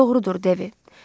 Doğrudur, Devi.